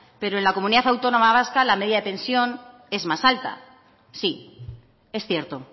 pero en la comunidad autónoma vasca la media de pensión es más alta sí es cierto